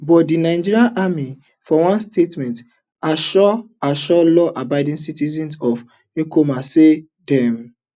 but di nigerian army for one statement assure assure lawabiding citizens of okuama say dem